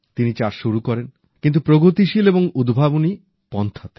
তিনি চাষ শুরু করেন কিন্তু প্রগতিশীল এবং উদ্ভাবনী পন্থায়